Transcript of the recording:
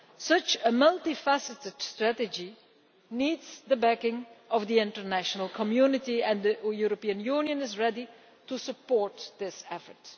Such a multi faceted strategy needs the backing of the international community, and the European Union is ready to support this effort.